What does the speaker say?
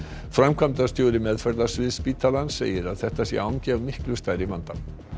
framkvæmdastjóri meðferðarsviðs spítalans segir að þetta sé angi af miklu stærri vanda